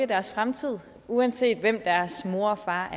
deres fremtid uanset hvem deres mor og far